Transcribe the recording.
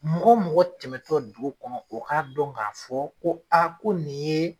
Mɔgɔ mɔgɔ tɛmɛtɔ dugu kɔnɔ, o ka dɔn ka fɔ ko a ko nin ye